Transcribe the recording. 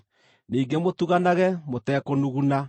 Ningĩ mũtuganage mũtekũnuguna.